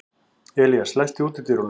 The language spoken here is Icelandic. Elías, læstu útidyrunum.